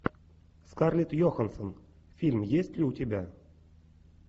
скарлетт йоханссон фильм есть ли у тебя